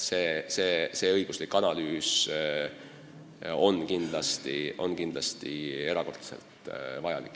See õiguslik analüüs on kindlasti erakordselt vajalik.